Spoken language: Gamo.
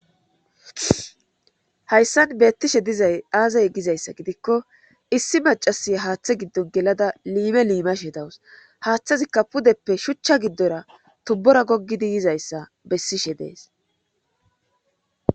hayssan beettishe dizay aazay gizayssa gidikko issi macasi haaththe giddon gelada liime liimashe dawus haaththazikka pudeppe shuchcha giddora tubbora goggidi yizayssa bessishe dees.